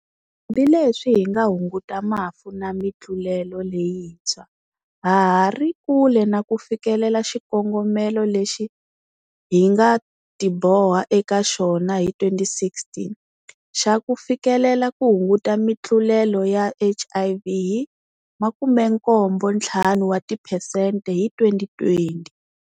Hambi leswi hi nga hunguta mafu na mitlulelo leyintshwa, ha ha ri kule na ku fikelela xikongomelo lexi hi nga tiboha eka xona hi 2016 xa ku fikelela ku hunguta mitlulelo ya HIV hi 75 wa tiphesente hi 2020.